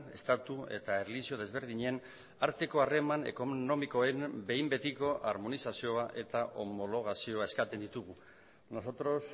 estatu eta erlijio desberdinen arteko harreman ekonomikoen behin betiko armonizazioa eta homologazioa eskatzen ditugu nosotros